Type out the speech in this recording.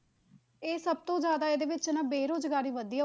ਇਹ ਸਭ ਤੋਂ ਜ਼ਿਆਦਾ ਇਹਦੇ ਵਿੱਚ ਨਾ ਬੇਰੁਜ਼ਗਾਰੀ ਵਧੀ ਹੈ,